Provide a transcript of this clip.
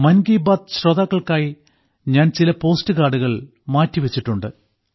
മൻ കി ബാത്ത് ശ്രോതാക്കൾക്കായി ഞാൻ ചില പോസ്റ്റ് കാർഡുകൾ മാറ്റിവെച്ചിട്ടുണ്ട്